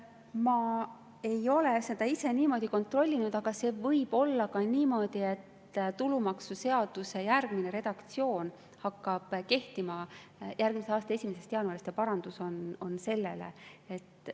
Ma ei ole seda ise kontrollinud, aga see võib olla ka niimoodi, et tulumaksuseaduse järgmine redaktsioon hakkab kehtima järgmise aasta 1. jaanuarist ja parandus on selle kohta.